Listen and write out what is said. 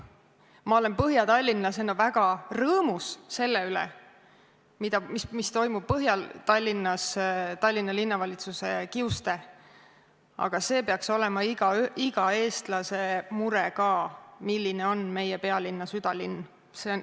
Ma olen põhjatallinlasena väga rõõmus selle üle, mis toimub Põhja-Tallinnas Tallinna Linnavalitsuse kiuste, aga see peaks olema ka iga eestlase mure, milline on meie pealinna südalinn.